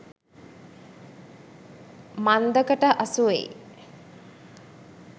මන්දකට අසුවෙයි.